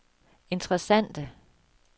interessante